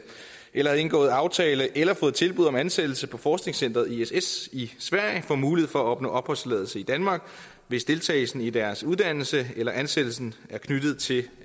eller har indgået aftale om eller fået tilbud om ansættelse på forskningscenteret ess i sverige får mulighed for at opnå opholdstilladelse i danmark hvis deltagelsen i deres uddannelse eller ansættelsen er knyttet til